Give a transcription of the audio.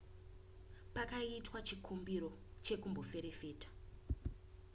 pakaitwa chikumbiro chekumboferefeta